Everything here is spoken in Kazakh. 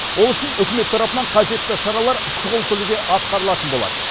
ол үшін үкімет тарапынан қажетті шаралар шұғыл түрде атқарылатын болады